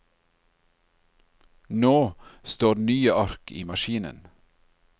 Nå står nye ark i maskinen.